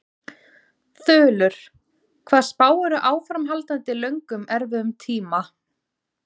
Þulur: Hvað spáirðu áframhaldandi löngum erfiðum tíma?